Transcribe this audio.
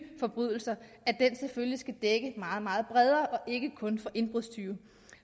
forbrydelser selvfølgelig skal dække meget meget bredere og ikke kun indbrudstyve